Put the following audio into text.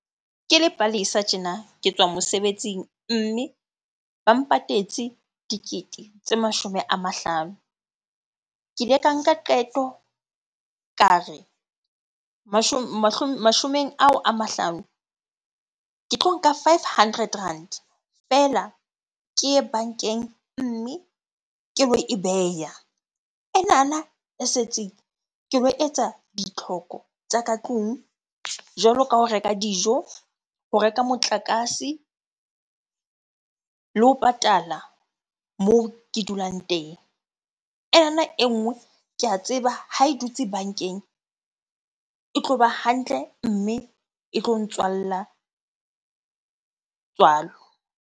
Ke le Palesa tjena ke tswa mosebetsing, mme ba mpatetse dikete tse mashome a mahlano. Ke ile ka nka qeto ka re mashomeng ao a mahlano, ke tlo nka five hundred rand feela. Ke ye bankeng, mme ke lo e beha. Enana e setseng ke lo etsa ditlhoko tsa ka tlung jwalo ka ho reka dijo, ho reka motlakase le ho patala moo ke dulang teng. Ena e nngwe ke a tseba ha e dutse bankeng, e tloba hantle mme e tlo ntswalla tswalo.